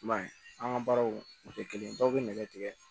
I m'a ye an ka baaraw o tɛ kelen ye dɔw bɛ nɛgɛ tigɛ